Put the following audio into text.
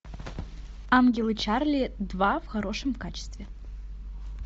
ангелы чарли два в хорошем качестве